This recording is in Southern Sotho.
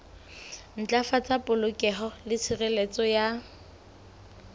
ntlafatsa polokeho le tshireletso ya